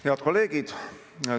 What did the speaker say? Head kolleegid!